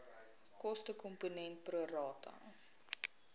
kostekomponent pro rata